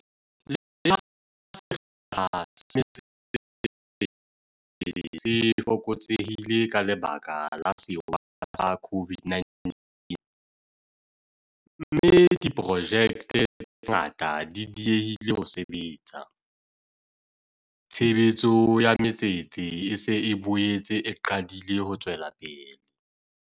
Le ha sekgahla sa matsete se fokotsehile ka lebaka la sewa sa COVID-19, mme diprojekte tse ngata di diehile ho sebetsa, tshebetso ya matsete e se e boetse e qadile ho tswela pele.